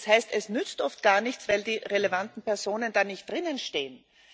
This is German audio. Das heißt Es nützt oft gar nichts, weil die relevanten Personen da nicht drinstehen.